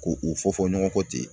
Ko u fɔ fɔ ɲɔgɔn kɔ ten.